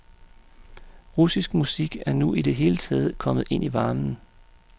Russisk musik er nu i det hele taget kommet ind i varmen.